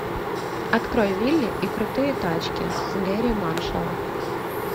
открой вилли и крутые тачки гэрри маршалла